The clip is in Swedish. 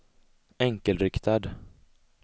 enkelriktad